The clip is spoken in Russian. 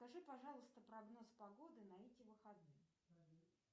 скажи пожалуйста прогноз погоды на эти выходные